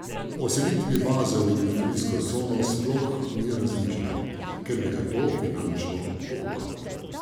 O selitvi baze v industrijsko cono sploh ni razmišljal, ker bi ga to finančno pokopalo.